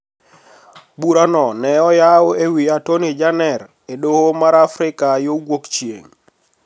Bura ne oyaw e wi Atoni Jener e doho mar Afrika yo Wuok Chieng`